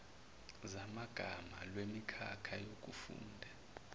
zamagama lwemikhakha yokufunda